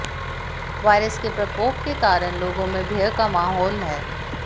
virus के प्रकोप के कारण लोगों में भय का माहौल है